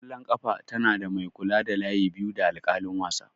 ƙwallon ƙafa tana da mai kula da layi biyu da alƙalin wasa.